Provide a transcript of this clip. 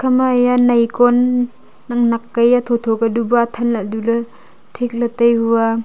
ema ye nai kon nak nak kya hia tho tho kya tai hu a.